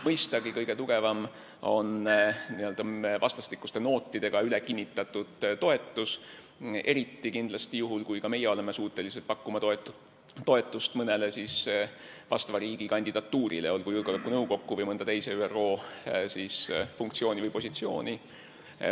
Mõistagi on kõige tugevam n-ö vastastikuste nootidega ülekinnitatud toetus – eriti juhul, kui ka meie oleme suutelised pakkuma toetust vastava riigi mõnele kandidatuurile, olgu julgeolekunõukokku või mõnda teise ÜRO funktsiooni või positsiooni.